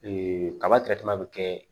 kaba bɛ kɛ